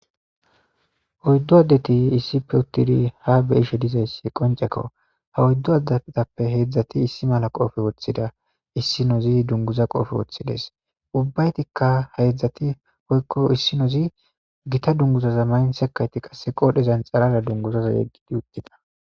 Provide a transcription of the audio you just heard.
Oyddu addeti issipe uttiri ha be7ishe dizayssi qonccekko. Ha oyddu adetappe heedzdzati issi mala qoofe woththida. issinoozi dunguza qoofe woththides. Ubbaytikka ha heedzdzati woykko issinozi gita dunguzaza maythekati qasse qoodhezan xarara dunguzaza yeggidi uttida.